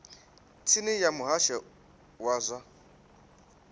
tsini ya muhasho wa zwa